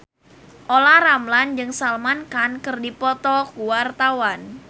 Olla Ramlan jeung Salman Khan keur dipoto ku wartawan